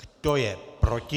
Kdo je proti?